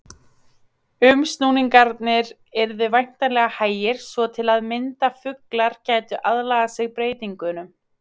Umsnúningarnir yrðu væntanlega hægir svo til að mynda fuglar gætu aðlagað sig breytingunum.